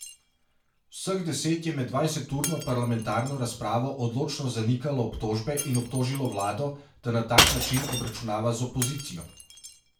Vseh deset je med dvajseturno parlamentarno razpravo odločno zanikalo obtožbe in obtožilo vlado, da na tak način obračunava z opozicijo.